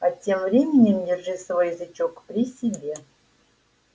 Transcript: а тем временем держи свой язычок при себе